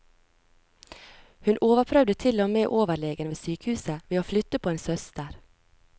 Hun overprøvde til og med overlegen ved sykehuset ved å flytte på en søster.